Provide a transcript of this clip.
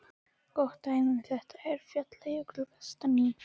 Gott dæmi um þetta er Falljökull vestan í